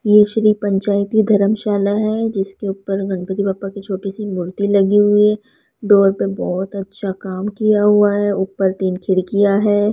ये श्री पंचायती धर्मशाला है जिसके ऊपर गणपति बप्पा की छोटी सी मूर्ति लगी हुई डोर पे बहहोत अच्छा काम किया हुआ है ऊपर तीन खिड़कियां है।